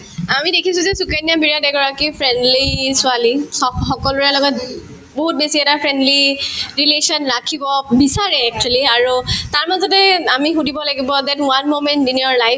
আমি দেখিছো যে সুকন্যাই বিৰাট এগৰাকী friendly ছোৱালী সক সকলোৰে লগত বহুত বেছি এটা friendly relation ৰাখিব বিচাৰে actually আৰু তাৰমাজতে আমি সুধিব লাগিব that one moment in your life